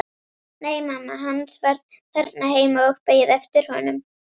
Nei, mamma hans var þarna heima og beið eftir honum.